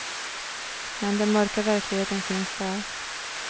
Men den mörka verkligheten finns där.